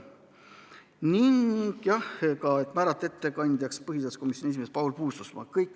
Ettekandjaks määrati põhiseaduskomisjoni esimees Paul Puustusmaa.